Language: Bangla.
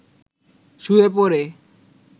শুয়ে পড়ে